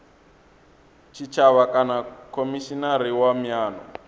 tshitshavha kana khomishinari wa miano